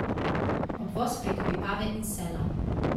Obvoz preko Vipave in Sela.